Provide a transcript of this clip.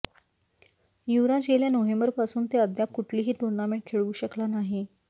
युवराज गेल्या नोव्हेंबरपासून ते अद्याप कुठलीही टुर्नामेंट खेळू शकला नाही